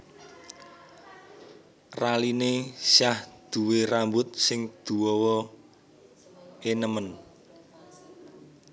Raline Shah duwe rambut sing duowo e nemen